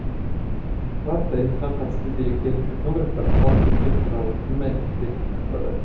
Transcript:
тарихқа қатысты деректер этнографтар салт дәстүр туралы тың мәліметтер жинақтады